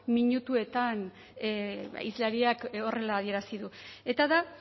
minutuetan hizlariak horrela adierazi du eta da